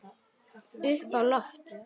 Upp á loft.